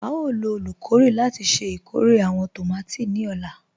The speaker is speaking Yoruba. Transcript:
À yóò lọ olúkọ̀rè láti ṣẹ ikórè àwọn tómati ni ọ̀la.